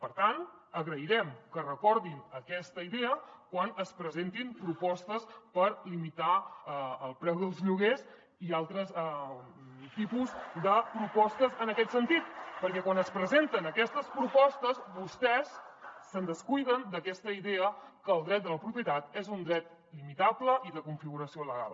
per tant agrairem que recordin aquesta idea quan es presentin propostes per limitar el preu dels lloguers i altres tipus de propostes en aquest sentit perquè quan es presenten aquestes propostes vostès se’n descuiden d’aquesta idea que el dret de la propietat és un dret limitable i de configuració legal